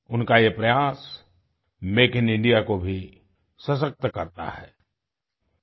उनका ये प्रयास मेक इन इंडिया को भी सशक्त करता है आई